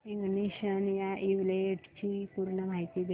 ignition या इव्हेंटची पूर्ण माहिती दे